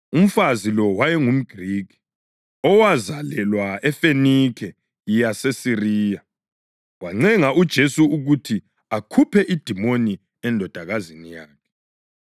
Umfazi lo wayengumGrikhi, owazalelwa eFenikhe yaseSiriya. Wancenga uJesu ukuthi akhuphe idimoni endodakazini yakhe.